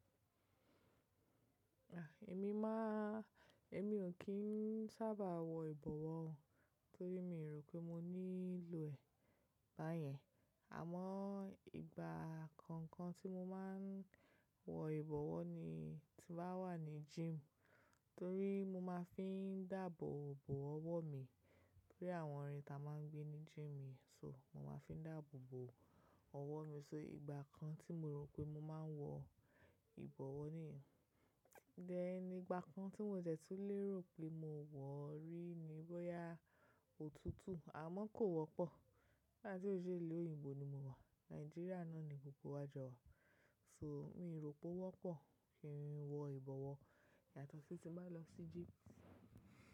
Èmi máa, èmi ò kí ń sábàà wọ ìbọ̀wọ̀ torí mi o rò pé mo nílò ẹ̀ báyẹn. Àmọ́ ìgbà kookan tí mo máa ń wọ ìbọ̀wọ̀ ni tí bá wà ní gym torí mo máa fi ń dáàbò bò ọwọ́ mi. Bí i àwọn ìrìn ta máa ń gbé ní gym. So mo máa fi ń dáàbò bò ọwọ́ mi. So ìgbà kan tí mo rò pé mo máa n wọ ìbọ̀wọ̀ nìyẹn. Thẹ́n igbà kan tí mo dẹ̀ tùn lérò pé mo wọ̀ rí ní boyà òtútù, àmọ́ kò wọ́pọ̀. Nigbáti ó ṣe ilu òyìnbó ni mo wà. Nàìjíríà náà ni gbogbo wà jọ̀ wa. So mi n rò pé ó wọ́pọ̀ kí n wọ ìbọ̀wọ̀ yàtọ̀ sí tí n bá lọ sí gym.